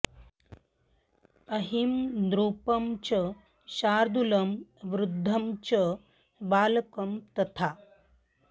अहिं नृपं च शार्दूलं वृद्धं च बालकं तथा